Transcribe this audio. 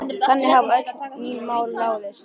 Þannig hafa öll mín mál ráðist.